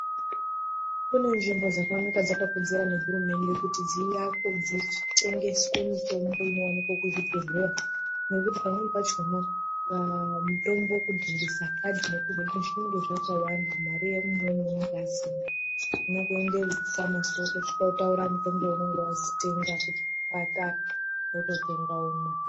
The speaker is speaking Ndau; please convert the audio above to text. Kune nzvimbo dzakakurudzirwa nehurumende kuti dzivakwe dzitengeswe mitombo inowanikwa kuzvibhedleya nekuti pamweni pachona va mitombo kudzindise kadhi zvinenga zvakawanda. Mare umweni unonga asina. Unongo endeyo kufamasi wotaura mutombo waunenga wazi tenga wakati wototenga womwa.